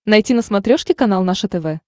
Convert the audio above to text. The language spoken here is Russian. найти на смотрешке канал наше тв